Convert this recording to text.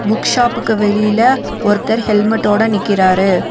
Book ஷாப்புக்கு வெளியில ஒருத்தர் ஹெல்மெட்டோட நிக்கிறாரு.